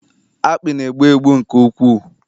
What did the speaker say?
akpị na-egbu egbu nke ukwuu